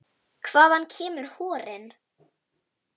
Hvaðan kemur horinn?